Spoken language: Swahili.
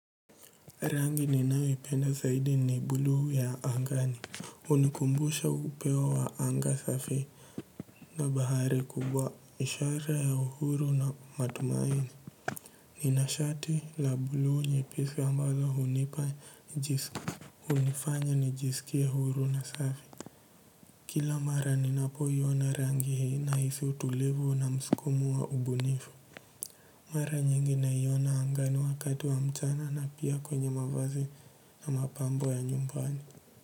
Rangi ninayoipenda zaidi ni buluu ya angani. Hunikumbusha upei wa anga safi na bahari kubwa. Ishara ya uhuru na matumaini nina shati la buluu nyepesi ambalo hunipa hunifanya nijisikie uhuru na safi kila mara ninapoiona rangi hii nahisi utulivu na mskumo wa ubunifu mara nyingi naiona angani wakati wa mchana na pia kwenye mavazi na mapambo ya nyumbani.